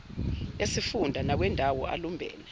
esifunda nawendawo alumbene